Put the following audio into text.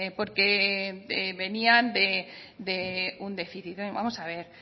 porque venían de un déficit vamos a ver